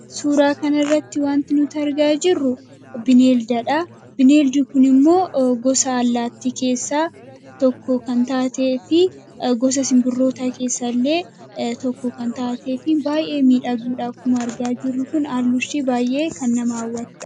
suuraa kan irratti wanti nuti argaa jirru bineeldadha. bineeldi kun immoo gosa allaattii keessaa tokko kan taatee fi gosa sinbirroota keessa illee tokko kan taatee fi baay'ee miidhagduudha akkuma argaa jirru kun halluun ishii baay'ee kan nama hawwate